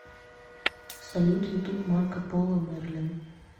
салют ютуб марко поло мерлин